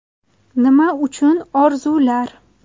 Nima uchun orzular?